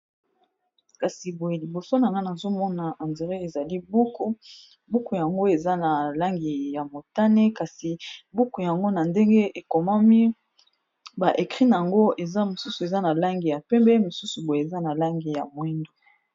kasi boye liboso na ngana azomona endré ezali buku buku yango eza na langi ya motane kasi buku yango na ndenge ekomami ba ekri na yango eza mosusu eza na lange ya pembe mosusu boye eza na lange ya mwindu